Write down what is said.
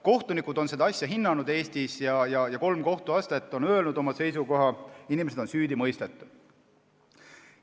Kohtunikud on seda asja Eestis hinnanud ja kolm kohtuastet on öelnud oma seisukoha, inimesed on süüdi mõistetud.